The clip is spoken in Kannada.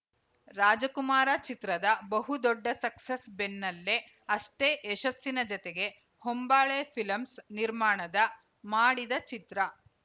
ರಾಜ ಕುಮಾರಚಿತ್ರದ ಬಹು ದೊಡ್ಡ ಸಕ್ಸಸ್‌ ಬೆನ್ನಲೇ ಅಷ್ಟೇ ಯಶಸ್ಸಿನ ಜತೆಗೆ ಹೊಂಬಾಳೆ ಫಿಲಂಸ್‌ ನಿರ್ಮಾಣದ ಮಾಡಿದ ಚಿತ್ರ